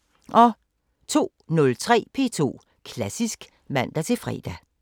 02:03: P2 Klassisk (man-fre)